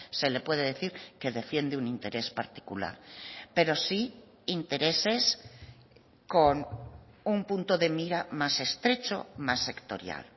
se le puede decir que defiende un interés particular pero sí intereses con un punto de mira más estrecho más sectorial